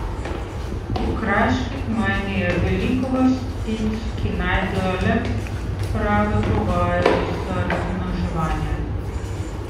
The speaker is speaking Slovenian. V kraški gmajni je veliko vrst ptic, ki najdejo le prave pogoje za razmnoževanje.